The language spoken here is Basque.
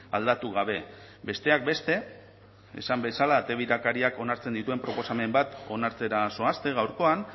aldatu gabe besteak beste esan bezala ate birakariak onartzen dituen proposamen bat onartzera zoazte gaurkoan